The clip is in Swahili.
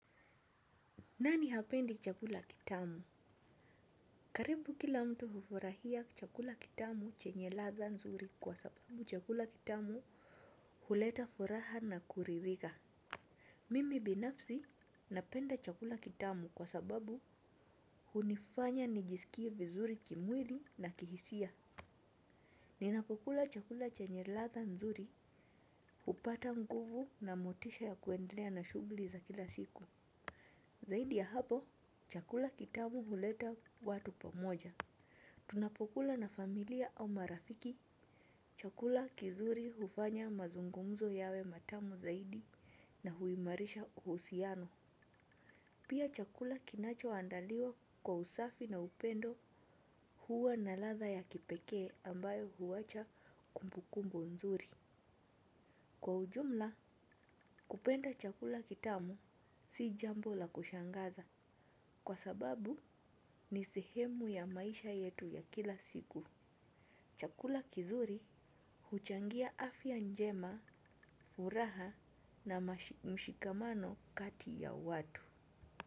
Nani hapendi chakula kitamu? Karibu kila mtu hufurahia chakula kitamu chenye ladha nzuri kwa sababu chakula kitamu huleta furaha na kuridhika. Mimi binafsi napenda chakula kitamu kwa sababu hunifanya nijisikie vizuri kimwili na kihisia. Ninapokula chakula chenye ladha nzuri hupata nguvu na motisha ya kuendelea na shughuli za kila siku. Zaidi ya hapo chakula kitamu huleta watu pamoja. Tunapokula na familia au marafiki, chakula kizuri hufanya mazungumzo yawe matamu zaidi na huimarisha uhusiano. Pia chakula kinachoandaliwa kwa usafi na upendo huwa na ladha ya kipekee ambayo huwacha kumbukumbu nzuri. Kwa ujumla, kupenda chakula kitamu si jambo la kushangaza kwa sababu ni sehemu ya maisha yetu ya kila siku. Chakula kizuri huchangia afya njema, furaha na mshikamano kati ya watu.